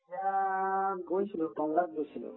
বিয়াত গৈছিলো টাংলা গৈছিলো